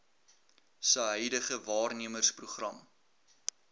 se huidige waarnemersprogram